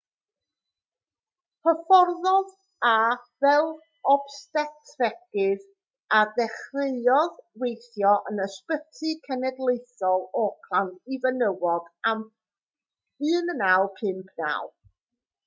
hyfforddodd e fel obstetregydd a dechreuodd weithio yn ysbyty cenedlaethol auckland i fenywod ym 1959